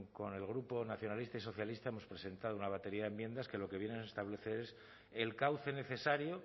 con el grupo nacionalistas y socialistas hemos presentado una batería de enmiendas que lo que vienen a establecer es el cauce necesario